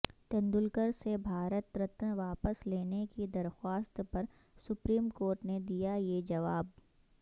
تیندولکر سے بھارت رتن واپس لینے کی درخواست پر سپریم کورٹ نے دیا یہ جواب